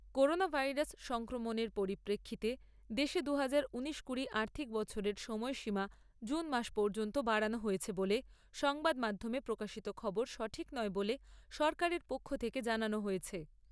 Corona virus সংক্রমণের পরিপ্রেক্ষিতে দেশে দুহাজার ঊনিশ কুড়ি আর্থিক বছরের সময়সীমা জুন মাস পর্যন্ত বাড়ানো হয়েছে বলে সংবাদ মাধ্যমে প্রকাশিত খবর সঠিক নয় বলে সরকারের পক্ষ থেকে জানানো হয়েছে।